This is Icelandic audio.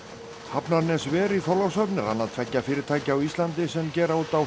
hafnarnes Ver í Þorlákshöfn er annað tveggja fyrirtækja á Íslandi sem gera út á